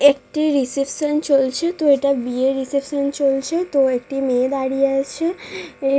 একটি রিসেপশন চলছে। তো এটা বিয়ের রিসেপশন চলছে। তো একটি মেয়ে দাঁড়িয়ে আছে। এ --